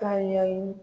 Ka ɲɛɲini